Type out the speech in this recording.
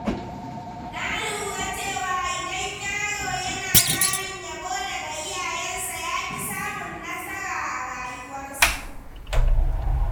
Na lura cewa idan yaro yana samun yabo daga iyayensa, yafi samun nasara a rayuwarsa.